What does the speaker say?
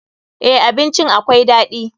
Eh, abincin akwai daɗi.